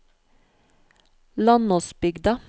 Landåsbygda